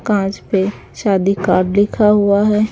कांच पे शादी कार्ड लिखा हुआ है।